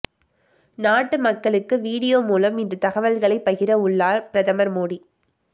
நாட்டு மக்களுக்கு வீடியோ மூலம் இன்று தகவல்களை பகிர உள்ளார் பிரதமர் மோடி